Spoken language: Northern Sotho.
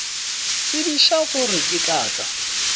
tsebiša gore ke tla tla